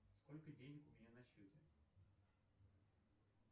сколько денег у меня на счете